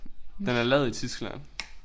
Den er lavet i Tyskland